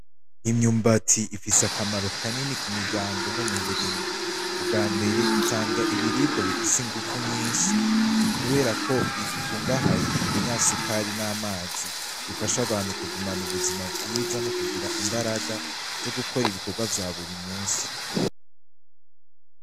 Imyumbati ifise akamaro kanini ku miryango no mu burimyi. Ubwambere itanga ibiribwa bifise inguvu nyinshi kubera ko ikungahaye ku binyasukari n'amazi bifasha abantu kugumana ubuzima bwiza no kugira imbaraga zo gukora ibikorwa vya buri munsi.